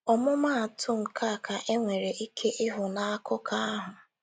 ọmụmaatụ nkea ka enwere ike ịhụ n' akụkọ ahụ